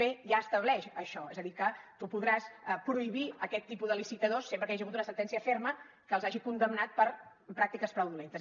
b ja estableix això és a dir que tu podràs prohibir aquest tipus de licitadors sempre que hi hagi hagut una sentència ferma que els hagi condemnat per pràctiques fraudulentes